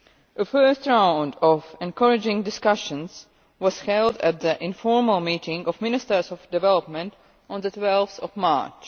A first round of encouraging discussions was held at the informal meeting of Ministers of Development on 12 March